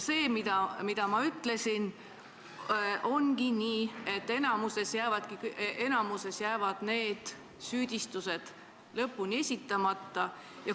Ongi nii, nagu ma ütlesin, et enamik nendest süüdistustest jäävad lõpuks esitamata.